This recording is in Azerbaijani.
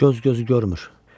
Göz gözü görmür.